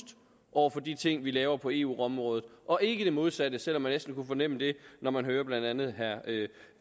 over for de ting vi laver på eu området og ikke det modsatte selv om man næsten kunne fornemme det når man hørte blandt andet